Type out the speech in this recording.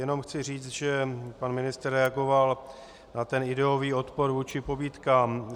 Jenom chci říct, že pan ministr reagoval na ten ideový odpor vůči pobídkám.